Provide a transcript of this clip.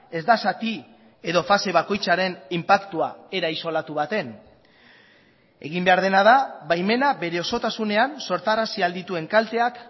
ez da zati edo fase bakoitzaren inpaktua era isolatu baten egin behar dena da baimena bere osotasunean sortarazi ahal dituen kalteak